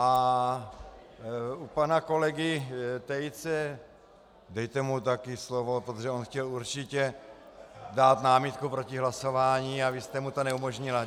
A u pana kolegy Tejce - dejte mu taky slovo, protože on chtěl určitě dát námitku proti hlasování a vy jste mu to neumožnila.